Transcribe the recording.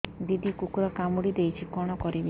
ଦିଦି କୁକୁର କାମୁଡି ଦେଇଛି କଣ କରିବି